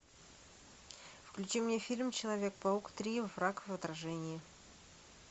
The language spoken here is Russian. включи мне фильм человек паук три враг в отражении